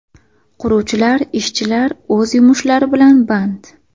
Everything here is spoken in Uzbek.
Quruvchilar, ishchilar o‘z yumushlari bilan band.